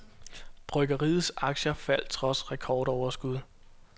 Bryggeriets aktier faldt trods rekordoverskud.